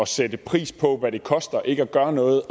sætte pris på hvad det koster ikke at gøre noget